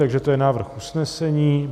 Takže to je návrh usnesení.